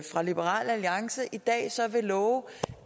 liberal alliance i dag så vil love